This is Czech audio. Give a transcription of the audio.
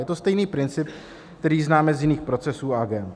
Je to stejný princip, který známe z jiných procesů a agend.